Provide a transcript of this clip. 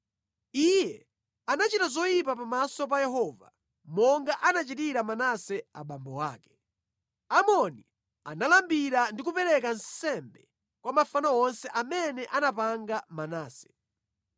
Iye anachita zoyipa pamaso pa Yehova, monga anachitira Manase abambo ake. Amoni analambira ndi kupereka nsembe kwa mafano onse amene anapanga Manase.